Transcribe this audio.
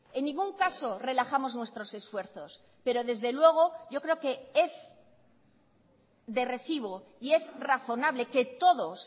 en ningún caso relajamos nuestros esfuerzos pero desde luego yo creo que es de recibo y es razonable que todos